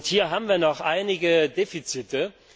Hier haben wir noch einige Defizite.